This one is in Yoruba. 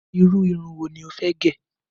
Irú irun wo ni ó fẹ́ gẹ̀?